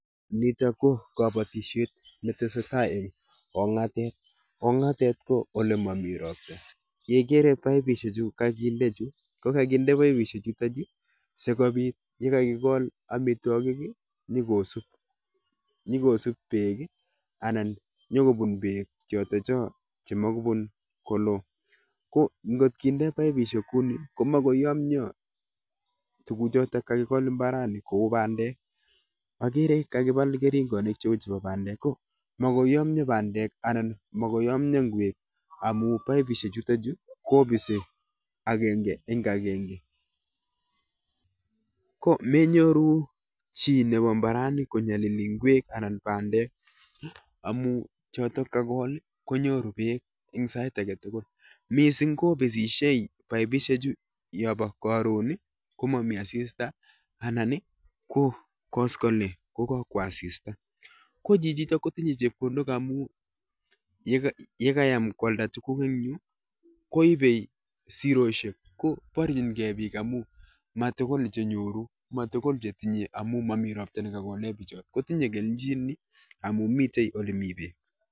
Nitok ko kabatishiet ne tesetai eng' kong'atet. Kong'atet ko ole mamii ropta. Yeigere paipishek chu kakinde chu, ko kakinde paipishek chutochu sikobit yekakigol amitwogik, nyikosub, nyikosub beek anan nyikobun beek chotocho chemagoi bun koloo. Ko ngot kinde paipishek kounii, ko magoi yomyoo tuguk chotok kakigol mbarani kou bandek. Agere kakibal keringonik cheu chebo bandek. Ko makoi yomyoo bandek, anan makoi yomyoo ngwek amu paipishek chutochu, kobise agenge eng' agenge. Ko menyoru chi nebo mbarani konyolili ngwek anan bandek amu chotok kagol, konyoru beek eng' sait age tugul. Missing kobisishei paipishek chu yobo karon ko mami asista, anan ko kaskoliny ko kakwo asista. Ko chichitok kotinye chepkondok amu yega yekayam kwalda tuguk eng' yuu, koibe siroshiek. Ko barchinkeiy biik amu matugul chenyoru, matugul chetinye amu momi ropta ne kagole bicho. Kotinye kelchin amu mitei ole mii beek.